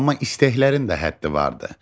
Amma istəklərin də həddi vardır.